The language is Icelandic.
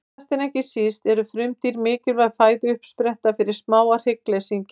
Síðast en ekki síst eru frumdýr mikilvæg fæðuuppspretta fyrir smáa hryggleysingja.